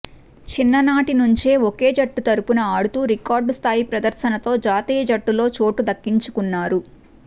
చిన్ననాటి నుంచే ఒకే జట్టు తరఫున ఆడుతూ రికార్డు స్థాయి ప్రదర్శనతో జాతీయ జట్టులో చోటు దక్కించుకున్నారు